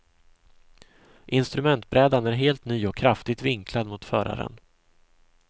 Instrumentbrädan är helt ny och kraftigt vinklad mot föraren.